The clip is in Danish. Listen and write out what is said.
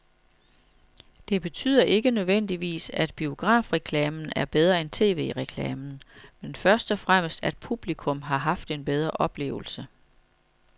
Det betyder ikke nødvendigvis, at biografreklamen er bedre end tv-reklamen, men først og fremmest at publikum har haft en bedre oplevelse.